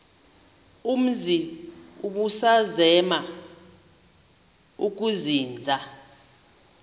umzi ubusazema ukuzinza